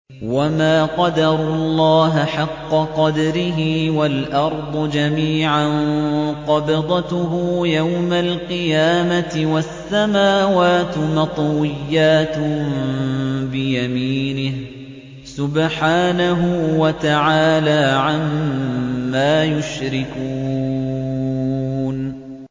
وَمَا قَدَرُوا اللَّهَ حَقَّ قَدْرِهِ وَالْأَرْضُ جَمِيعًا قَبْضَتُهُ يَوْمَ الْقِيَامَةِ وَالسَّمَاوَاتُ مَطْوِيَّاتٌ بِيَمِينِهِ ۚ سُبْحَانَهُ وَتَعَالَىٰ عَمَّا يُشْرِكُونَ